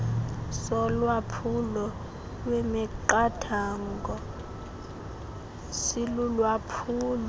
solwaphulo lwemiqathango silulwaphulo